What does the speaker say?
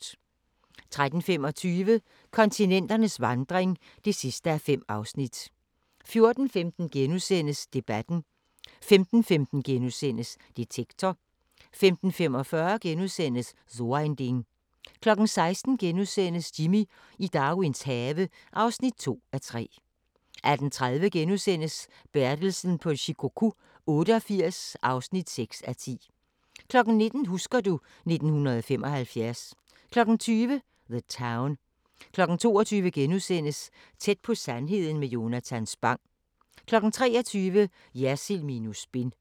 13:25: Kontinenternes vandring (5:5) 14:15: Debatten * 15:15: Detektor * 15:45: So ein Ding * 16:00: Jimmy i Darwins have (2:3)* 18:30: Bertelsen på Shikoku 88 (6:10)* 19:00: Husker du ... 1975 20:00: The Town 22:00: Tæt på sandheden med Jonatan Spang * 23:00: Jersild minus spin